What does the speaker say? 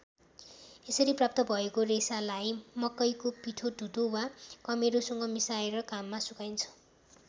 यसरी प्राप्त भएको रेसालाई मकैको पिठो ढुटो वा कमेरोसँग मिसाएर घाममा सुकाइन्छ।